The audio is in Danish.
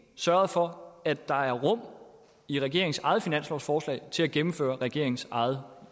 sørget for at der er rum i regeringens eget finanslovsforslag til at gennemføre regeringens eget